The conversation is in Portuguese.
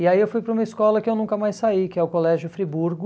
E aí eu fui para uma escola que eu nunca mais saí, que é o Colégio Friburgo.